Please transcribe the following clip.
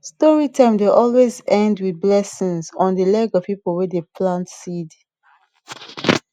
story time dey always end with blessings on dey leg of people wey dey plant seeds